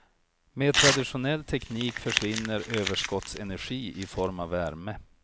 Med traditionell teknik försvinner överskottsenergi i form av värme.